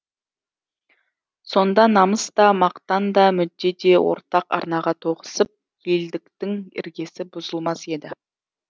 сонда намыс та мақтан да мүдде де ортақ арнаға тоғысып елдіктің іргесі бұзылмас еді